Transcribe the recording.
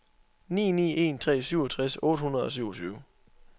ni ni en tre syvogtres otte hundrede og syvogtyve